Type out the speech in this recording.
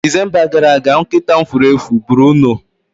Disemba gara aga, nkịta m furu efu Bruno